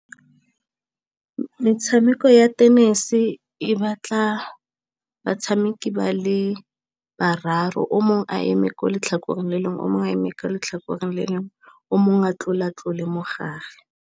Metshameko ya tennis e batla batshameki ba le bararo, o mongwe a eme kwa letlhakoreng le lengwe, o mongwe a eme kwa letlhakoreng le lengwe, o mongwe a tlola tlola mo gare.